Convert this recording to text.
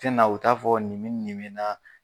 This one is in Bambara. Tɛ na u t'a fɔ ni ni nin me naa